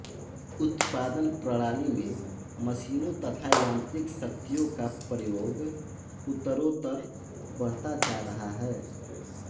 उत्पादन प्रणाली में मशीनों तथा यांत्रिक शक्तियों का प्रयोग उत्तरोत्तर बढ़ता जा रहा है